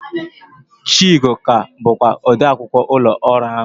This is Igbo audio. Chiugo ka bụkwa odeakwụkwọ ụlọ ọrụ ahụ.